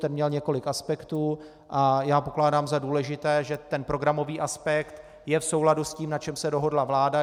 Ten měl několik aspektů a já pokládám za důležité, že ten programový aspekt je v souladu s tím, na čem se dohodla vláda.